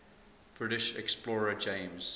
british explorer james